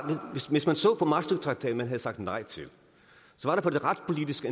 hvis man så på maastrichttraktaten som vi havde sagt nej til var der på det retspolitiske